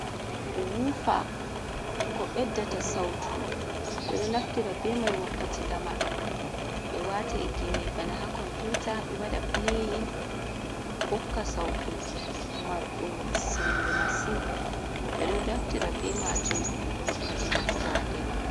Wufa ko ɓeddata sautu. Ɓeɗo naftira be mai wakkati lamar. Ɓe wata gimi bana ha komputa ɓe waɗa pleyin hokka sautu marɗum sembe masin. Ɓeɗo naftira be majum wakkati moftorde.